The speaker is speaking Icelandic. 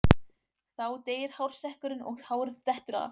Þá deyr hársekkurinn og hárið dettur af.